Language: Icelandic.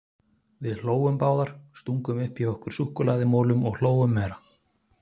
Við hlógum báðar, stungum upp í okkur súkkulaðimolum og hlógum meira.